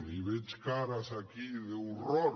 i veig cares aquí d’horror